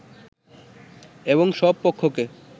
এবং সব পক্ষকে